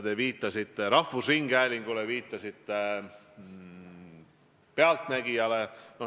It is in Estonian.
Te viitasite rahvusringhäälingule, viitasite "Pealtnägijale".